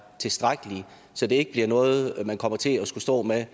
tilstrækkelige så det ikke bliver noget man kommer til at skulle stå med